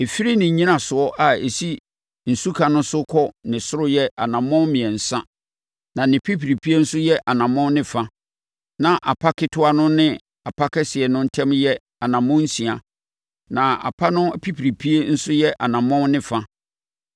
Ɛfiri ne nnyinasoɔ a ɛsi nsuka no so kɔ ne soro yɛ anammɔn mmiɛnsa, na ne pipiripie nso yɛ ɔnamɔn ne fa, na apa ketewa no ne apa kɛseɛ no ntam yɛ anammɔn nsia, na apa no pipiripie nso yɛ ɔnamɔn ne fa.